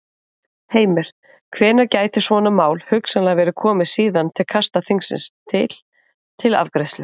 Heimir: Hvenær gæti svona mál hugsanlega verið komið síðan til kasta þingsins til, til afgreiðslu?